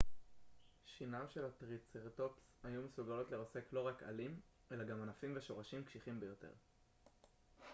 שיניו של הטריצרטופס היו מסוגלות לרסק לא רק עלים אלא גם ענפים ושורשים קשיחים ביותר